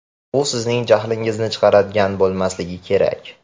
U sizning jahlingizni chiqaradigan bo‘lmasligi kerak.